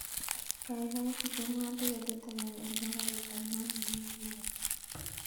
Kaikai bookenwon tiketit agenge nebo garit ab maat newendi nairobi